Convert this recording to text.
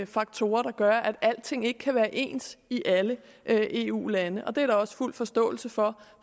faktorer der gør at alting ikke kan være ens i alle eu lande og det er der også fuld forståelse for